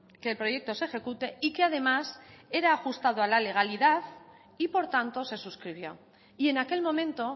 que el proyecto se ejecute y que además era ajustado a la realidad y por tanto se suscribió y en aquel momento